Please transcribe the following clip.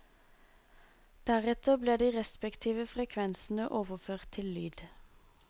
Deretter ble de respektive frekvensene overført til lyd.